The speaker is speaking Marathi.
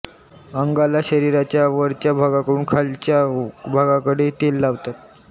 अंगाला शरीराच्या वरच्या भागाकडून खालच्या भागाकडे तेल लावतात